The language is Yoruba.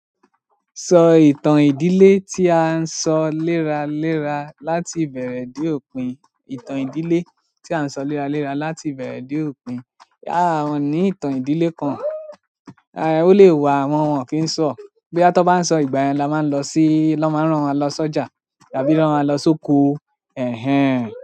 Sọ ìtàn ìdílé tí a ń sọ léra léra láti ìbẹ̀rẹ̀ dé òpin. Ìtàn ìdílé tí a ń sọ léra léra láti ìbẹ̀rẹ̀ dé òpin. A ní ìtàn ìdílé kan, a, ó lè wá wọn wọ́n kì í sọ. Boya tọn bá ń sọ ìgbà yẹn la máa ń lọ sí, lọ́ máa ń rán wa lọ sọ́jà tàbí rán wa lọ sóko. Ẹ̀hẹn.